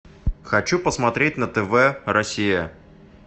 хочу посмотреть на тв россия